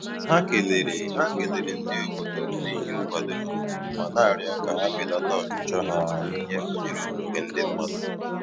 Ha kelere Ha kelere ndị obodo n'ihi nkwado ha, ma na-arịọ ka ha belata ọchịchọ ha n'ihe banyere okwukwe ndị mmadụ